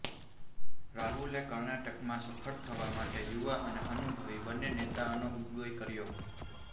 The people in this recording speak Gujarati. રાહુલે કર્ણાટકમાં સફળ થવા માટે યુવા અને અનુભવી બન્ને નેતાઓનો ઉપગોય કર્યો